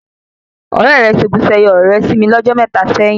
Òrẹ́ rẹ́ seku seye ọ̀rọ̀ re sí mí ní ọjọ mẹta sẹ́yín